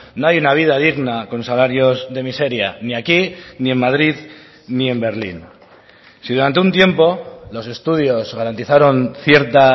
no hay una vida digna con salarios de miseria ni aquí ni en madrid ni en berlín si durante un tiempo los estudios garantizaron cierta